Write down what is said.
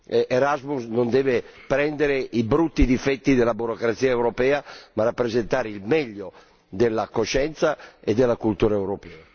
Erasmus non deve prendere i brutti difetti della burocrazia europea ma rappresentare il meglio della coscienza e della cultura europea.